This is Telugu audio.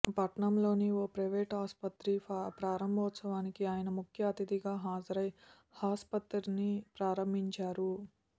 పట్టణంలోని ఓ ప్రైవేట్ ఆస్పత్రి ప్రారం భోత్సవానికి ఆయన ముఖ్య అతిథిగా హాజరై ఆస్పత్రిని ప్రారంభించారు